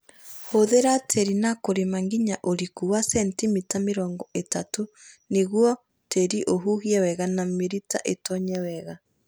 Hũthia tĩri na kũrĩma nginya ũriku wa sentimita mĩrongo ĩtatũ nĩguo tĩri ũhuhie wega na mĩrita ĩtonye wega